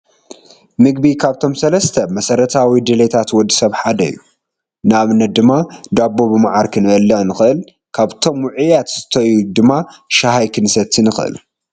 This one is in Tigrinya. ምግቢ ካብቶም ሰለስተ መሰረታዊ ድልየታት ወዲ ሰብ ሓደ እዩ፡፡ ንኣብነት ድማ ዳቦ ብመዓር ክንበልዕ ንኽእልን ካብቶም ውዑያት ዝስተዩ ድማ ሻሂ ክንሰቲ ንኽእል፡፡